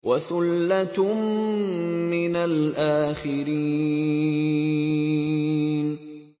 وَثُلَّةٌ مِّنَ الْآخِرِينَ